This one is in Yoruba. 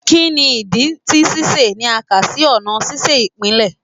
Kini idi ti sise ni a ka si ọna sise ipilẹ?